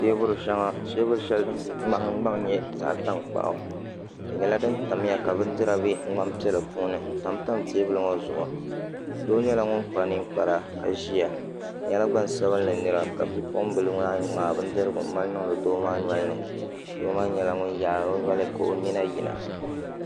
Teebuli shɛli din nahangbaŋ nyɛ zaɣ tankpaɣu di nyɛla din tamya ka bindira bɛ ŋmani piɛla puuni n tamtam teebuli ŋo zuɣu doo nyɛla ŋun kpa ninkpara ka ʒiya o nyɛla gba ŋsabinli nira ka bipuɣunbili maa ŋmaai bindirigu n mali niŋdi doo maa nolini doo maa nyɛla ŋun yaari o noli ka o nyina yina